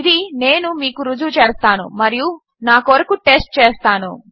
ఇది నేను మీకు రుజువు చేస్తాను మరియు నా కొరకు టెస్ట్ చేస్తాను